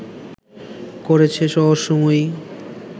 করেছে রহস্যময়ী